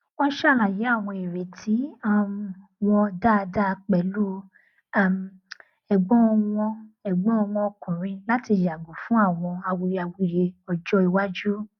wọn ṣàlàyé àwọn ìrètí um wọn dáadáa pẹlú um ẹgbọn wọn ẹgbọn wọn ọkùnrin láti yàgò fún àwọn awuyewuye ọjọ iwájú